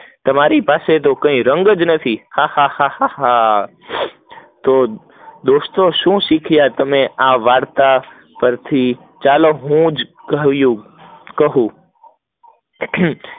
તમારી પાસે તો કઈ રંગ જ નથી, હા હા હા, તો દોસ્તો શું શીખ્યા તમે વાર્તા પર થી ચાલો હું જ કહી દઉં